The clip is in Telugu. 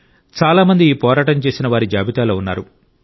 చాలా మంది ఈ పోరాటం చేసిన వారిజాబితాలో ఉన్నారు